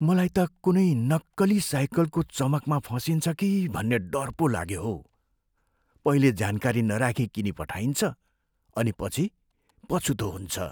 मलाई त कुनै नक्कली साइकलको चमकमा फसिन्छ कि भन्ने डर पो लाग्यो हौ। पहिले जानकारी नराखी किनिपठाइन्छ अनि पछि पछुतो हुन्छ।